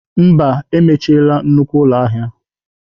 Mba, emechiela nnukwu ụlọ ahịa.